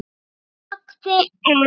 Hún þagði en